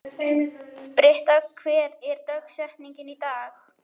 Britta, hver er dagsetningin í dag?